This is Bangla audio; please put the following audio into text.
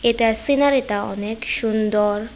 এটা সিনারিটা অনেক সুন্দর।